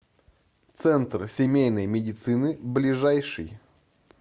центр семейной медицины ближайший